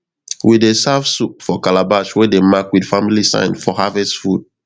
we dey serve soup for calabash wey dem mark with family sign for harvest food